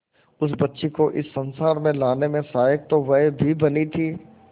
उस बच्ची को इस संसार में लाने में सहायक तो वह भी बनी थी